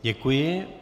Děkuji.